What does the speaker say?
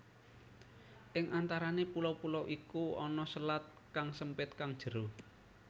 Ing antarane pulo pulo iku ana selat kang sempit kang jero